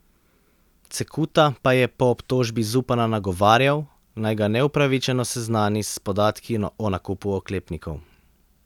Cekuta pa je po obtožbi Zupana nagovarjal, naj ga neupravičeno seznani s podatki o nakupu oklepnikov.